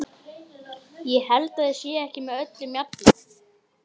Ég held að þið séuð ekki með öllum mjalla!